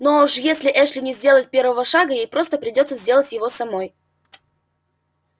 ну а уж если эшли не сделает первого шага ей просто придётся сделать его самой